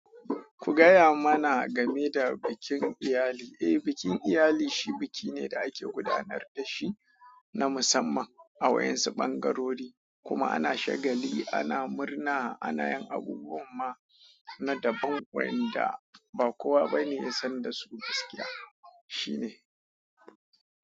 Ku gaya mana game da bikin iyali. Eh, bikin iyali shi biki ne da ake gudanar da shi na musamman a waƴansu ɓangarori, kuma ana shagali, ana murna, ana yin abubuwan ma. Na daban waƴanda ba kowa bane ya san da su gaskiya. Shi ne.